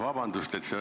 Vabandust!